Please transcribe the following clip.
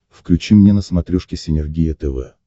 включи мне на смотрешке синергия тв